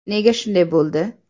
Nega shunday bo‘ldi?